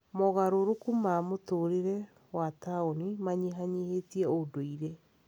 Mogarũrũku ma mũtũũrĩre wa taũni manyihanyihĩtie ũndũire.